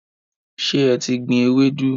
Ṣe e ti gbìn Ewedu?